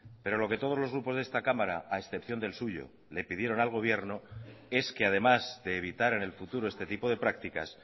pero lo que todos los grupos de esta cámara a excepción del suyo le pidieron al gobierno es que además de evitar en el futuro este tipo de prácticas